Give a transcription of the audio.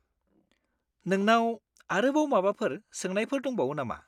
नोंनाव आरोबाव माबाफोर सोंनायफोर दंबावो नामा?